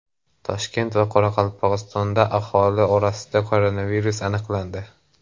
Toshkent va Qoraqalpog‘istonda aholi orasida koronavirus aniqlandi.